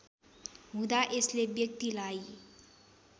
हुदाँ यसले व्यक्तिलाई